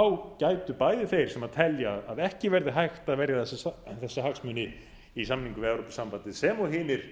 um gætu bæði þeir sem telja að ekki verði gæta að verja þessa hagsmuni í samningum við evrópusambandið sem og hinir